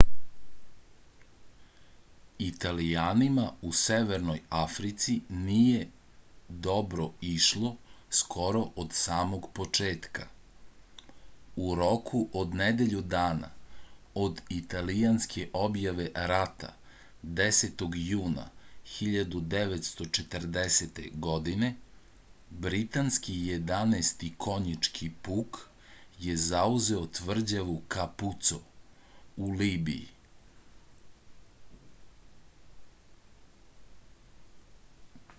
italijanima u severnoj africi nije dobro išlo skoro od samog početka u roku od nedelju dana od italijanske objave rata 10. juna 1940. godine britanski 11. konjički puk je zauzeo tvrđavu kapuco u libiji